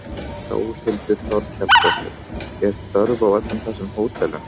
Þórhildur Þorkelsdóttir: Er þörf á öllum þessum hótelum?